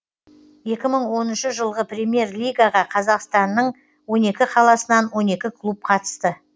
екі мың оныншы жылғы премьер лигаға қазақстанның он екі қаласынан он екі клуб қатысты